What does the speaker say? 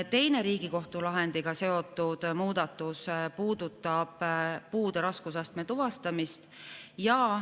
Teine Riigikohtu lahendiga seotud muudatus puudutab puude raskusastme tuvastamist.